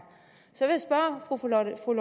så har fru lotte rod